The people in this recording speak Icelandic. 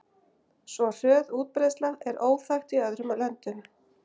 Svo hröð útbreiðsla er óþekkt í öðrum löndum.